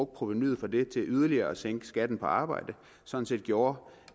provenuet fra det til yderligere at sænke skatten på arbejde sådan set gjorde